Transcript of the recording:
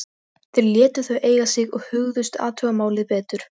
Þeir létu þau eiga sig og hugðust athuga málið betur.